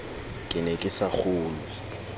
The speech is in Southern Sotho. ke ne ke sa kgolwe